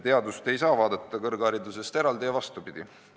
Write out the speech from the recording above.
Teadust ei saa vaadata kõrgharidusest eraldi ja vastupidi.